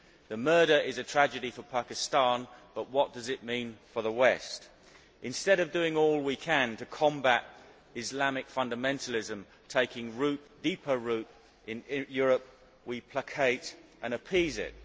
The murder is a tragedy for Pakistan, but what does it mean for the West? Instead of doing all we can to combat Islamic fundamentalism taking deeper root in Europe, we placate and appease it.